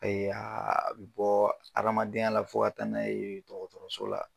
a bɔ adamadenya la fo ka taa n'a ye dɔkɔtɔrɔso la